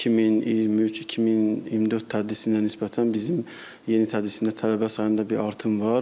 2023-2024 tədrisinə nisbətən bizim yeni tədrisdə tələbə sayında bir artım var.